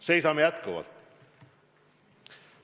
Seisame jätkuvalt.